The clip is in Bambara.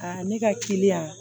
Aa ne ka kiliyan